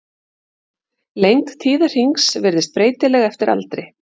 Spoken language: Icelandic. Lengd tíðahrings virðist breytileg eftir aldri.